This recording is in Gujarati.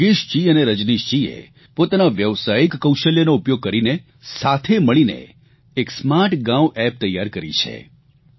યોગેશજી અને રજનીશજીએ પોતાના વ્યવસાયિક કૌશલ્યનો ઉપયોગ કરીને સાથે મળીને એક સ્માર્ટ ગાંવ એપ તૈયાર કરી છે